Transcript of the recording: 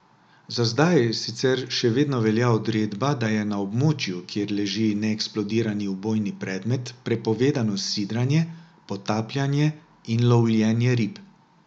Za zdaj sicer še vedno velja odredba, da je na območju, kjer leži neeksplodirani ubojni predmet, prepovedano sidranje, potapljanje in lovljenje rib.